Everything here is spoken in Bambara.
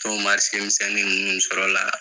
misɛnnin ninnu bɛ sɔrɔ o la.